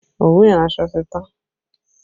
Òwú iransọ ti tán